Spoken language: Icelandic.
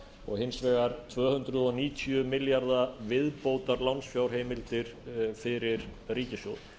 og hins vegar tvö hundruð níutíu milljarða viðbótarlánsfjárheimildir fyrir ríkissjóð